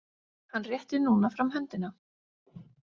Hann rétti núna fram höndina.